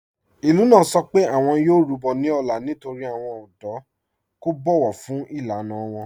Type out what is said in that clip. Ìlú náà sọ pé awọn yóò rúbọ̀ ní òlá nítorí awọn ọdọ̀ kò bọ̀wọ̀ fún ilànà wọn.